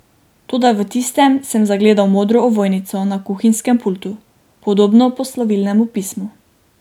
Toda v tistem sem zagledal modro ovojnico na kuhinjskem pultu, podobno poslovilnemu pismu.